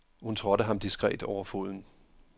Hun trådte ham diskret over foden.